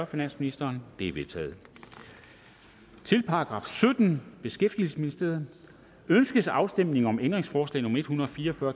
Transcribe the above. finansministeren de er vedtaget til § syttende beskæftigelsesministeriet ønskes afstemning om ændringsforslag nummer en hundrede og fire og fyrre